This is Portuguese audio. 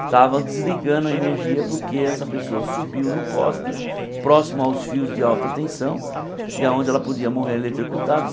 Estava desligando a energia porque essa pessoa subiu no poste, próximo aos fios de alta tensão, e aonde ela podia morrer eletrocutada.